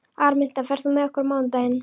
Araminta, ferð þú með okkur á mánudaginn?